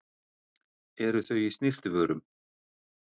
Eru þau í snyrtivörum?